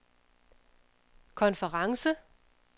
konference